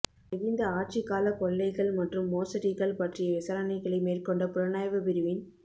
மகிந்த ஆட்சிக்கால கொள்ளைகள் மற்றும் மோசடிகள் பற்றிய விசாரணைகளை மேற்கொண்ட புலனாய்வுப் பிரிவின்